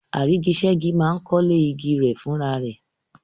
Àrígiṣẹ́gi máa ń kọ́lé igi rẹ̀ fúnra rẹ̀.